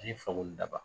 Ani fakoli daba